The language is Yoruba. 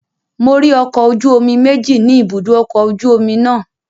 Mo rí ọkọ̀ ojú omi méjì ni ibùdó ọkọ̀ ojú omi náà